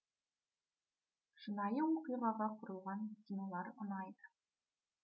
шынайы оқиғаға құрылған кинолар ұнайды